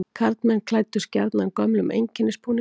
Karlmenn klæddust gjarnan gömlum einkennisbúningum.